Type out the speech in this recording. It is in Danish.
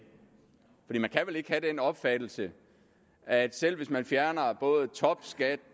man opfattelse at selv hvis man fjerner topskat